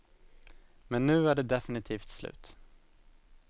Men nu är det definitivt slut.